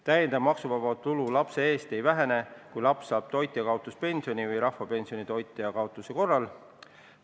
Täiendav maksuvaba tulu lapse eest ei vähene, kui laps saab toitjakaotuspensioni või rahvapensioni toitja kaotuse korral.